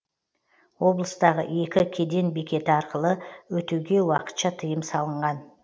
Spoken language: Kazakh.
облыстағы екі кеден бекеті арқылы өтуге уақытша тыйым салынған